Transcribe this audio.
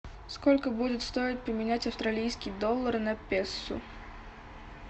сколько будет стоить поменять австралийские доллары на песо